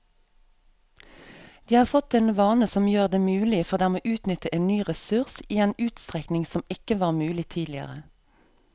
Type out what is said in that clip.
De har fått en vane som gjør det mulig for dem å utnytte en ny ressurs i en utstrekning som ikke var mulig tidligere.